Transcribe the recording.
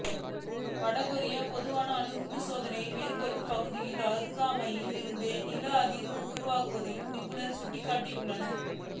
வடகொரியா பொதுவாக அணு குண்டு சோதனை மேற்கொள்ளும் பகுதியின் அருகாமையில் இருந்தே நில அதிர்வு உருவானதாகவும் நிபுணர்கள் சுட்டிக்காட்டியுள்ளனர்